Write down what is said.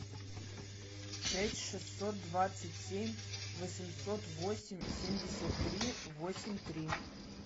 шесть шестьсот двадцать семь восемьсот восемь семьдесят три восемь три